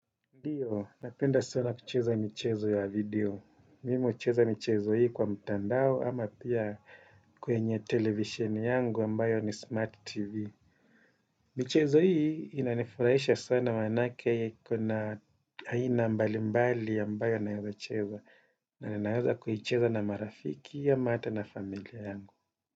Ndiyo, napenda sana kucheza michezo ya video. Mimu hucheza michezo hii kwa mtandao ama pia kwenye televisheni yangu ambayo ni smart tv. Michezo hii inanifurahisha sana maanake kuna aina mbalimbali ambayo naweza cheza. Na ninaweza kuicheza na marafiki ama hata na familia yangu.